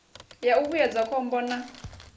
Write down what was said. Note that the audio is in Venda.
ya u vhuedza khombo na